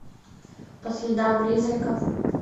по следам призраков